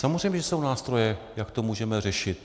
Samozřejmě že jsou nástroje, jak to můžeme řešit.